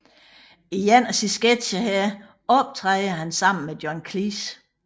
I en af sine sketcher her optræder han sammen med John Cleese